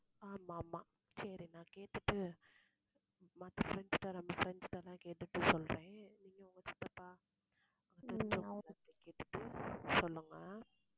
ஆமா ஆமா சரி, நான் கேட்டுட்டு மத்த friends கிட்ட நம்ம friends கிட்ட எல்லாம் கேட்டுட்டு சொல்றேன். நீங்க, உங்க சித்தப்பா கேட்டுட்டு சொல்லுங்க